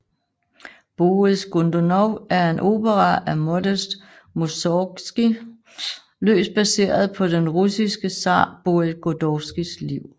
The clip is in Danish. Boris Godunov er en opera af Modest Musorgskij løst baseret på den russiske zar Boris Godunovs liv